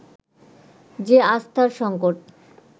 যে আস্থার সংকট